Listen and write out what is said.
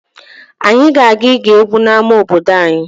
Anyị ga-aga ige egwu n'ama obodo anyị.